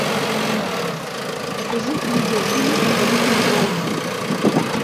покажи видеофильм покорители волн